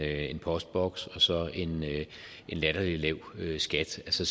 en postboks og så en latterlig lav skat så